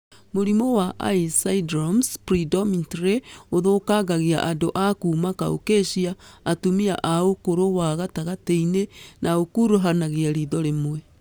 Mũrimũ wa ICE syndromes predominantly ũthũkagĩra andũ a kuma Caucasia, atumia a ũkũrũ wa gatagatĩ-inĩ na ũkuruhanagia ritho rĩmwe